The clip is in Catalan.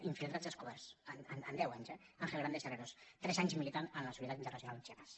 infiltrats descoberts en deu anys eh ángel grandes herreros tres anys militant en la solidaritat internacional amb chiapas